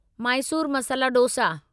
Mysore masala dosa